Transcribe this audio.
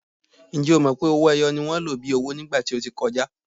Ǹjẹ́ o mọ̀ pé owó-ẹyọ ni wọ́n lò bíi owó ní ìgbà tí ó ti kọjá?